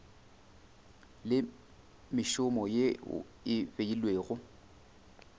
le mešomo yeo e beilwego